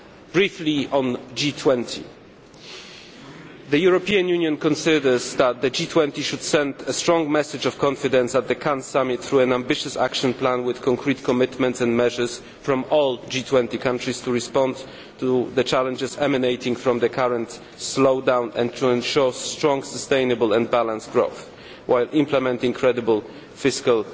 Briefly on the G20 the European Union considers that the G20 should send a strong message of confidence at the Cannes Summit through an ambitious action plan with concrete commitments and measures from all G20 countries to respond to the challenges emanating from the current slowdown and to ensure strong, sustainable and balanced growth, while implementing credible fiscal